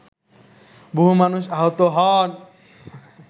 বহু মানুষ আহত হন